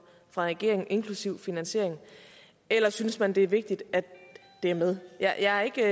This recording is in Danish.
fra regeringen inklusive finansiering eller synes man det er vigtigt at det er med jeg er ikke